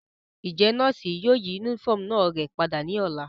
Njẹ nọọsi yóò yi unifọmú náa rẹ pada ni ọla?